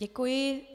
Děkuji.